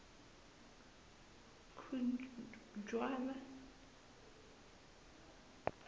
khujwana